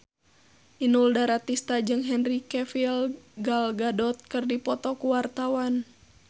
Inul Daratista jeung Henry Cavill Gal Gadot keur dipoto ku wartawan